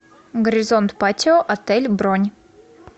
горизонт патио отель бронь